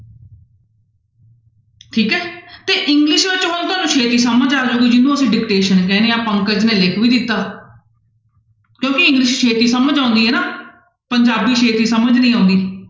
ਠੀਕ ਹੈ ਤੇ english ਤੁਹਾਨੂੰ ਛੇਤੀ ਸਮਝ ਆ ਜਾਊਗੀ ਜਿਹਨੂੰ ਅਸੀਂ dictation ਕਹਿੰਦੇ ਹਾਂਂ ਪੰਕਜ ਨੇ ਲਿਖ ਵੀ ਦਿੱਤਾ ਕਿਉਂਕਿ english ਛੇਤੀ ਸਮਝ ਆਉਂਦੀ ਹੈ ਨਾ ਪੰਜਾਬੀ ਛੇਤੀ ਸਮਝ ਨਹੀਂ ਆਉਂਦੀ।